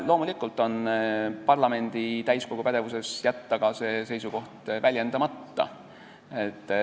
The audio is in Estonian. Loomulikult on parlamendi täiskogu pädevuses jätta ka see seisukoht väljendamata.